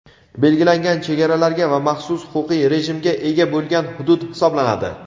belgilangan chegaralarga va maxsus huquqiy rejimga ega bo‘lgan hudud hisoblanadi.